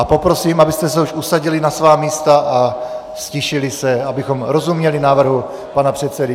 A poprosím, abyste se už usadili na svá místa a ztišili se, abychom rozuměli návrhu pana předsedy.